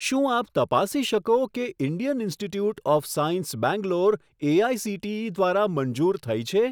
શું આપ તપાસી શકો કે Indian institute of science Bangalore AICTE દ્વારા મંજૂર થઈ છે?